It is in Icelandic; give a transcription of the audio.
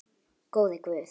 Góði Guð.